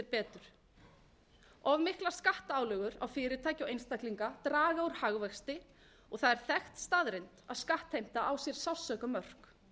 betur of miklar skattálögur á fyrirtæki og einstaklinga draga úr hagvexti og það er þekkt staðreynd að skattheimta á sér sársaukamörk